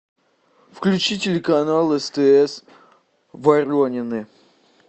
включи телеканал стс воронины